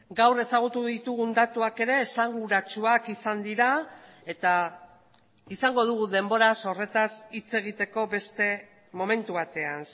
gaur ezagutu ditugun datuak ere esanguratsuak izan dira eta izango dugu denbora horretaz hitz egiteko beste momentu batean